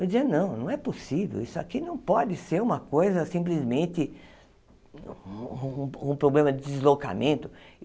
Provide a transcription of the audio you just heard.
Eu dizia, não, não é possível, isso aqui não pode ser uma coisa, simplesmente, um um um problema de deslocamento.